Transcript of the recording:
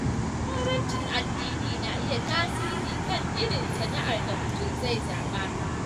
Jagorancin addini na iya tasiri kan irin sana’ar da mutum zai zaɓa.